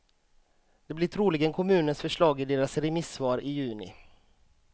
Det blir troligen kommunens förslag i deras remissvar i juni.